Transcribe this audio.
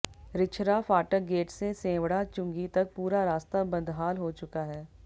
रिछरा फाटक गेट से सेंवढ़ा चुंगी तक पूरा रास्ता बदहाल हो चुका है